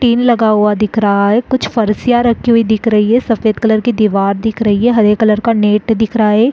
tin लगा हुआ दिख रहा है कुछ कुर्सियां रखी हुई दिख रही है सफ़ेद कलर की दिवार दिख रही हैं हरे कलर का नेट दिख रहा है ए --